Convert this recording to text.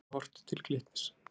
Er einkum horft til Glitnis